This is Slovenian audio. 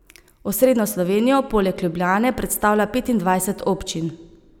Osrednjo Slovenijo poleg Ljubljane predstavlja petindvajset občin.